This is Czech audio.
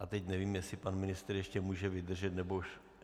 A teď nevím, jestli pan ministr ještě může vydržet, nebo už...?